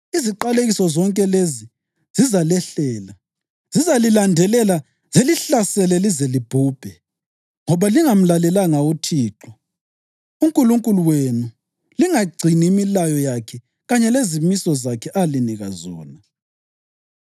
Iziqalekiso zonke lezi zizalehlela. Zizalilandelela zilihlasele lize libhubhe, ngoba lingamlalelanga uThixo uNkulunkulu wenu langagcini imilayo yakhe kanye lezimiso zakhe alinika zona.